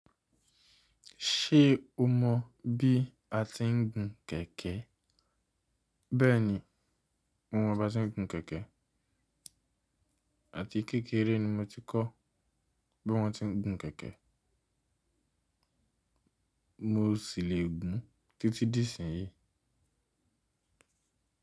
Ṣé o mọ bí a tiń gun kẹ̀kẹ́? Bẹ́ẹ̀ni, mo mọ bí ase ń gun kẹ̀kẹ́. Àti kékeré ni mo ti kọ́ bí wọ́n ti ń gun kẹ̀kẹ́. Mo sì lè gùn títí dí ìsìn yìí.